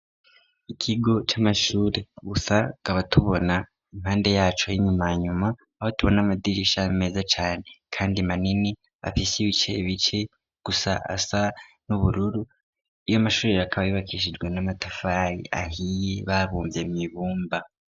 Ikigo c'amashuri, gusa tukaba tubona impande yaco h'inyumanyuma, aho tubona amadirisha meza cane kandi manini afise ibice bice gusa asa n'ubururu, ayo mashure akaba yubakishijwe n'amatafari ahiye babumvye mw'ibumba.